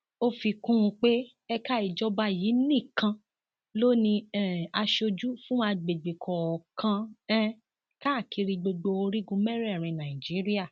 ó fi kún un pé ẹka ìjọba yìí nìkan ló ní um aṣojú fún àgbègbè kọọkan um káàkiri gbogbo orígun mẹrẹẹrin nàìjíríà